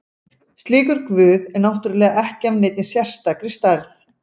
Slíkur guð er náttúrulega ekki af neinni sérstakri stærð.